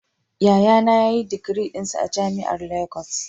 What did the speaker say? Yayana ya yi digirinsa a jami'ar Legas